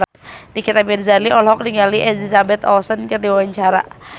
Nikita Mirzani olohok ningali Elizabeth Olsen keur diwawancara